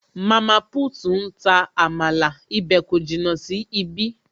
Mama put ń ta amala, ibè kò jìnnà sí ibí